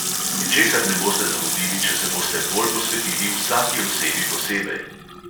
Ničesar ne boste zamudili, če se boste bolj posvetili vsaki osebi posebej.